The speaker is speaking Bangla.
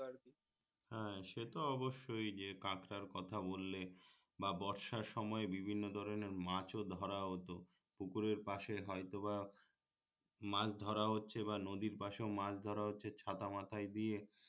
হ্যাঁ সে তো অবশ্যই যে কাঁকড়ার কথা বললে বা বর্ষার সময় বিভিন্ন ধরণের মাছ ও ধরা হতো পুকুরের পাশে হয়তো বা মাছ ধরা হচ্ছে বা নদীর পাশেও মাছ ধরা হচ্ছে ছাতা মাথায় দিয়ে